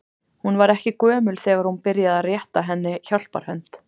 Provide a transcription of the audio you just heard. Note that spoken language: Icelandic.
Hún var ekki gömul þegar hún byrjaði að rétta henni hjálparhönd.